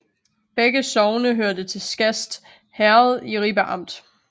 Begge sogne hørte til Skast Herred i Ribe Amt